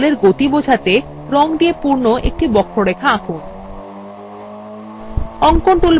এখন জলএর গতি বোঝাতে রং দিয়ে পূর্ণ একটি বক্ররেখা আঁকুন